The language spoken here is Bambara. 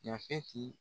Yafeti